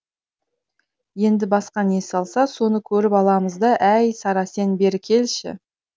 енді басқа не салса соны көріп аламыз да әй сара сен бері келші